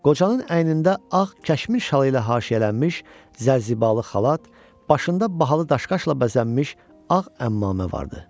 Qocanın əynində ağ kəşmir şalı ilə haşiyələnmiş zəlzibalı xalat, başında bahalı daşqaşla bəzənmiş ağ əmmamə vardı.